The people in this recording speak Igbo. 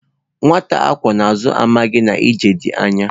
Nwata akwó na azu, amaghi na ije di anya